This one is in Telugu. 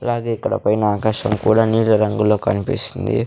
అలాగే ఇక్కడ పైన ఆకాశం కూడా నీలి రంగులో కనిపిస్తుంది.